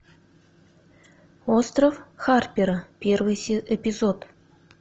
остров харпера первый эпизод